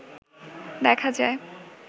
দেখা যায়